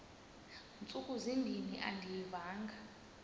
ntsuku zimbin andiyivanga